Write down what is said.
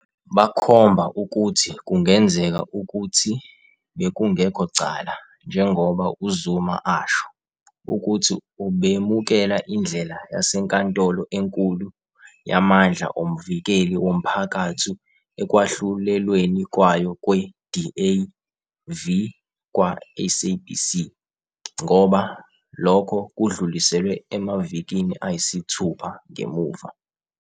Bakhomba ukuthi kungenzeka ukuthi bekungekho cala, njengoba uZuma asho, ukuthi ubemukela indlela yaseNkantolo eNkulu yamandla oMvikeli woMphakathi ekwahlulelweni kwayo kwe- "DA v kwaSABC", ngoba lokho kudluliselwe emavikini ayisithupha "ngemuva"